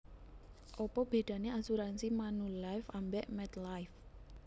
Opo bedane asuransi Manulife ambek MetLife?